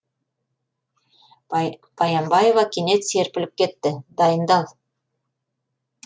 баянбаева кенет серпіліп кетті дайындал